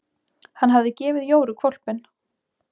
Hann hafði gefið Jóru hvolpinn.